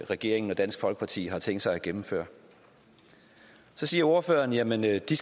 regeringen og dansk folkeparti har tænkt sig at gennemføre så siger ordføreren at de